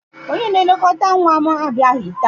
Onye na-elekọta nwa m abịaghị taa.